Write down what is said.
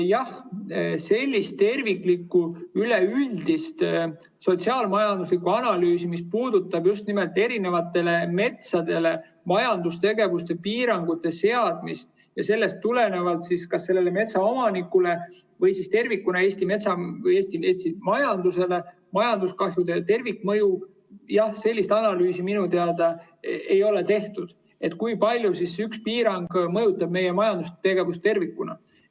Jah, sellist terviklikku üleüldist sotsiaal-majanduslikku analüüsi, mis puudutab just nimelt metsale majandustegevuse piirangute seadmist ja sellest tulenevalt kas sellele metsaomanikule või tervikuna Eesti majandusele majanduskahjude tervikmõju, minu teada ei ole tehtud, et kui palju üks piirang mõjutab meie majandustegevust tervikuna.